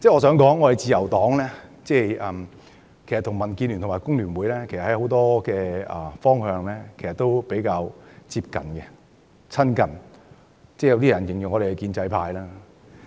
事實上，自由黨與民建聯和工聯會在很多方面的想法都比較接近，有些人形容我們為建制派。